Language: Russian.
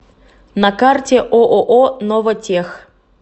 на карте ооо новотех